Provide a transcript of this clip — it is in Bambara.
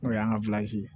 N'o y'an ka